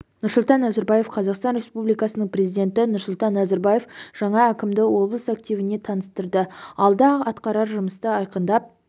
нұрсұлтан назарбаев қазақстан республикасының президенті нұрсұлтан назарбаев жаңа әкімді облыс активіне таныстырды алда атқарар жұмысты айқындап